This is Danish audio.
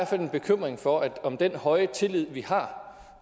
fald en bekymring for om den høje tillid vi har